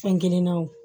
Fɛn kelen na wo